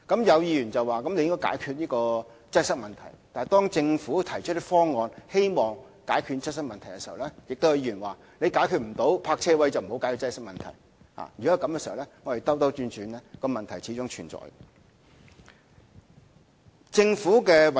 有議員表示應該解決擠塞問題，但當政府提出方案以解決擠塞問題時，亦有議員表示解決不了泊車位的問題就不要解決擠塞問題。